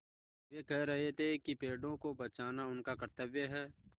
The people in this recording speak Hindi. वे कह रहे थे कि पेड़ों को बचाना उनका कर्त्तव्य है